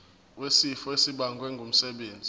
wesifo esibagwe ngumsebenzi